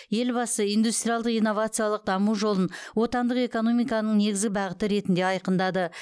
елбасы индустриалдық инновациялық даму жолын отандық экономиканың негізгі бағыты ретінде айқындады